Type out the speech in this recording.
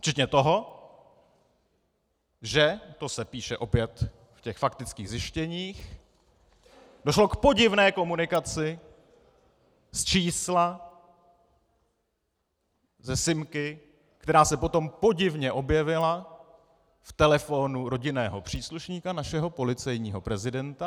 Včetně toho, že - to se píše opět v těch faktických zjištěních - došlo k podivné komunikaci z čísla, ze simky, která se potom podivně objevila v telefonu rodinného příslušníka našeho policejního prezidenta.